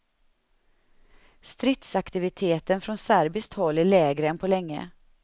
Stridsaktiviteten från serbiskt håll är lägre än på länge.